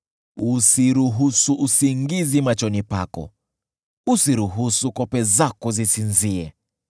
Usiruhusu usingizi machoni pako, usiruhusu kope zako zisinzie.